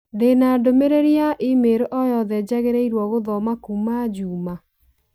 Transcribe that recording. Ndĩna ndũmĩrĩri ya i-mīrū o yothe njagĩrĩirũo gũthoma kuuma Juma